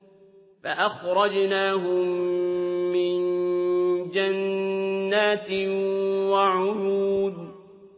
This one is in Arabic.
فَأَخْرَجْنَاهُم مِّن جَنَّاتٍ وَعُيُونٍ